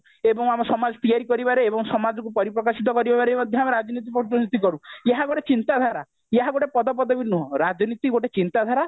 ଏବଂ ଆମ ସମାଜ ତିଆରି କରିବାରେ ଏବଂ ସମାଜକୁ ପରିପ୍ରକାଶିତ କରିବାରେ ମଧ୍ୟ ଆମେ ରାଜନୀତି କରୁ ଯାହା ଗୋଟେ ଚିନ୍ତାଧାରା ଯାହା ଗୋଟେ ପଦପଦବି ନୁହଁ ରାଜନୀତି ଗୋଟେ ଚିନ୍ତାଧାରା